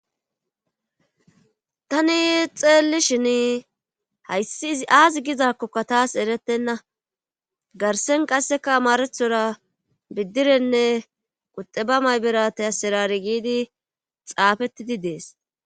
Tani xeellishshin hayssi izi aazi gizakkokka taas erettenna garsen qasseka amaraththora biddirenne quxeba mayberate asserare giidi xaafettidi dees